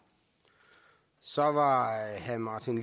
så var herre martin